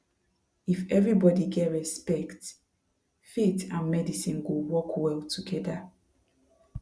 if everybody get respect faith and medicine go work well together